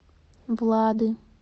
влады